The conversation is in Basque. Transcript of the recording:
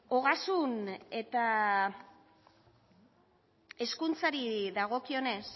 ogasun eta hezkuntzari dagokionez